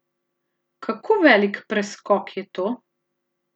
Kako velik preskok je to?